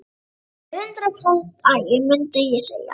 Alveg hundrað prósent agi, mundi ég segja.